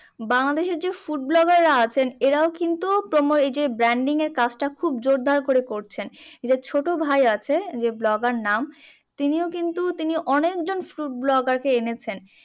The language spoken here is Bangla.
বাংলাদেশের যে food vlogger রা আছে এরাও কিন্তু এইযে branding এর কাজটা খুব জোরদার করে করছেন। এইযে ছোট ভাই আছে যে, vlogger নাম, তিনিও কিন্তু তিনি অনেকজন food vlogger কে এনেছেন।